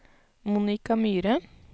Monica Myhre